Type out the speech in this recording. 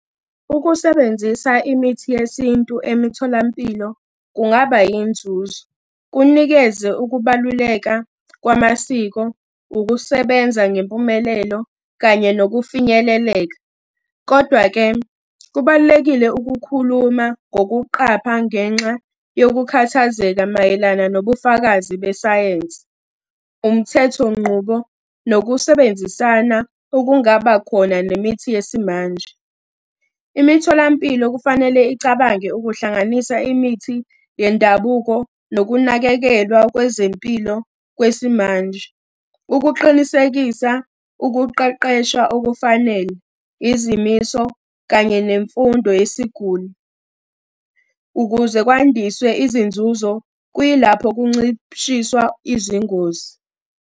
Ukusebenzisa imithi yesintu emitholampilo kungaba yinzuzo, kunikeze ukubaluleka kwamasiko, ukusebenza ngempumelelo, kanye nokufinyeleleka. Kodwa-ke kubalulekile ukukhuluma ngokuqapha ngenxa yokukhathazeka mayelana nobufakazi besayensi, umthetho nqubo, nokusebenzisana okungaba khona nemithi yesimanje. Imitholampilo kufanele icabange ukuhlanganisa imithi yendabuko nokunakekelwa kwezempilo kwesimanje, ukuqinisekisa ukuqeqesha okufanele, izimiso, kanye nemfundo yesiguli. Ukuze kwandiswe izinzuzo, kuyilapho kuncishiswa izingozi.